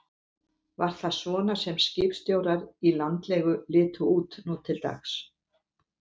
Var það svona sem skipstjórar í landlegu litu út nú til dags?